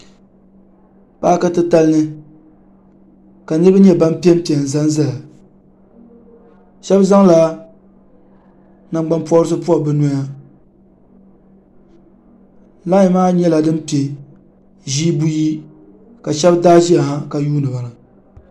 paki titali ni ka nririba nyɛ ban pɛnpɛ m zaya shɛbi zala nagbanpɔrisi pobi bɛnoya lani maa nyɛla din pɛ ʒɛ buyi ka shɛbi daa na ka yuniba